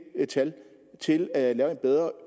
tal til at lave en bedre